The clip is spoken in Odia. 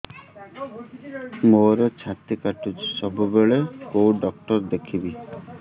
ମୋର ଛାତି କଟୁଛି ସବୁବେଳେ କୋଉ ଡକ୍ଟର ଦେଖେବି